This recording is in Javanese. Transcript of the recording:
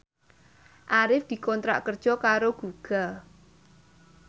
Arif dikontrak kerja karo Google